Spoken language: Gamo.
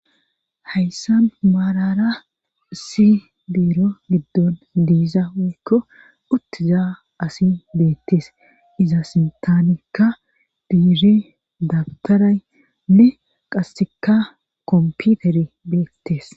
Hayssa maalara si biiro giddon diiza woykko uttizaa asi beettes iza sintanikka diiri dabtaray nne qasseka komputer beettes.